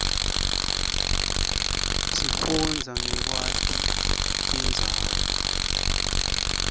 sifunbza nqekwaiti tirbzawo